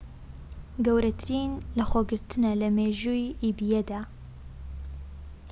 گەورەترین لەخۆگرتنە لە مێژووی ئیبەیدا